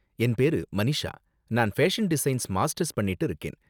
என் பேரு மனிஷா, நான் ஃபேஷன் டிசைன்ல மாஸ்டர்ஸ் பண்ணிட்டு இருக்கேன்